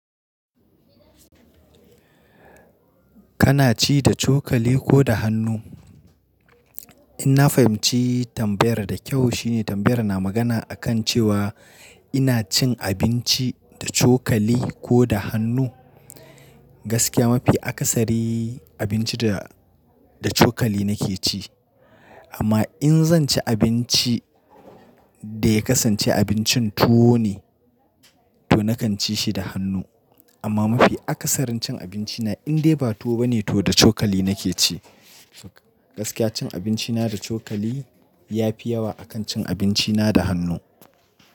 Kana ci da cokali ko da hannu? In na fahimci tambayar da kyau shine tambayar na magana akan cewa ina cin abinci da cokali ko da hannu. Gaskiya mafi akasari abinci da, da cokali nake ci. Amma in zan ci abinci da ya kasance abincin tuwo ne to nakan ci shi da hannu. Amma mafi akasarin cin abinci na in dai ba tuwo bane to da cokali nake ci. Gaskiya cin abinci na da cokali ya fi yawa akan cin abinci na da hannu.